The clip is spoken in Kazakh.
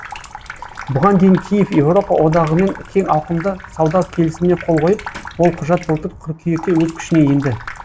бұған дейін киев еуропа одағымен кең ауқымды сауда келісіміне қол қойып ол құжат былтыр қыркүйекте өз күшіне енді